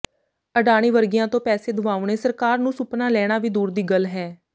ਅਡਾਨੀ ਵਰਗਿਆਂ ਤੋਂ ਪੈਸੇ ਦਵਾਉਣੇ ਸਰਕਾਰ ਦਾ ਸੁਪਨਾ ਲੈਣਾ ਵੀ ਦੂਰ ਦੀ ਗੱਲ ਹੈ